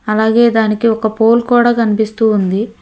అలాగే దానికి ఒక పోల్ కూడా కనిపిస్తూ ఉంది.